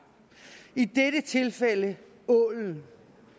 i dette tilfælde ålen ålen